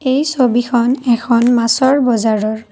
এই ছবিখন এখন মাছৰ বজাৰৰ।